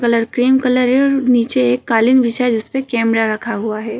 Colour cream colour है और नीचे एक कालीन बिछा है जिसपे कैमरा रखा हुआ है।